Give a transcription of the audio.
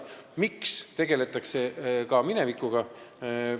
Miks tegeldakse ka minevikuga?